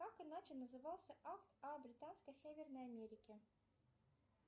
как иначе назывался акт о британской северной америке